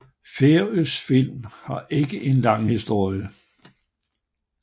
Færøsk film har ikke en lang historie